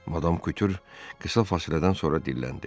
Madam Kutyur qısa fasilədən sonra dilləndi.